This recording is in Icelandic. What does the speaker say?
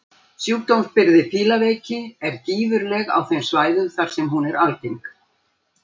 Sjúkdómsbyrði fílaveiki er gífurleg á þeim svæðum þar sem hún er algeng.